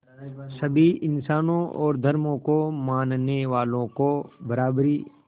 सभी इंसानों और धर्मों को मानने वालों को बराबरी